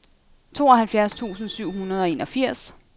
tooghalvfjerds tusind syv hundrede og enogfirs